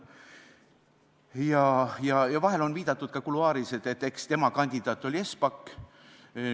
Vahel on kuluaarides viidatud ka sellele, et eks tema kandidaat oli Espak.